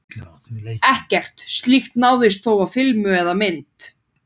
Ekkert slíkt náðist þó á filmu eða mynd.